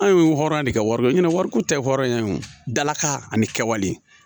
Anw ye hɔrɔn de kɛ wari kɔ wariko tɛ hɔrɔnya ye wo dalakan ani kɛwale